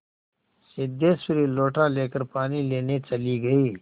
सिद्धेश्वरी लोटा लेकर पानी लेने चली गई